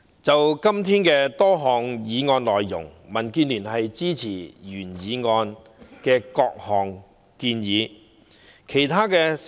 就今天多項議案及修正案，民建聯支持原議案的各項建議。